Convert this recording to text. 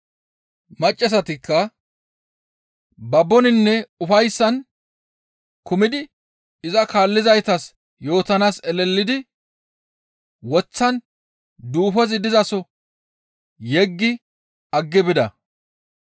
Maccassatikka baboninne ufayssan kumidi iza kaallizaytas yootanaas elelidi woththan duufozi dizaso yeggi aggidi bida.